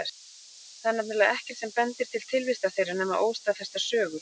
Það er nefnilega ekkert sem bendir til tilvistar þeirra nema óstaðfestar sögur.